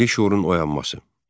Milli şüurun oyanması.